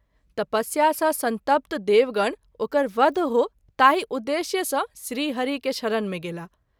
तपस्या सँ संतप्त देवगण ओकर वध हो ताहि उद्देश्य सँ श्री हरि के शरण मे गेलाह।